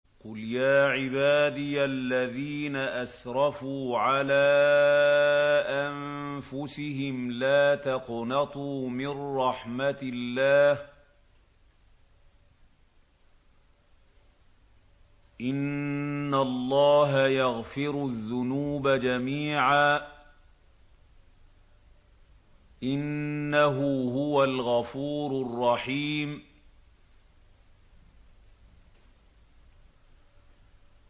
۞ قُلْ يَا عِبَادِيَ الَّذِينَ أَسْرَفُوا عَلَىٰ أَنفُسِهِمْ لَا تَقْنَطُوا مِن رَّحْمَةِ اللَّهِ ۚ إِنَّ اللَّهَ يَغْفِرُ الذُّنُوبَ جَمِيعًا ۚ إِنَّهُ هُوَ الْغَفُورُ الرَّحِيمُ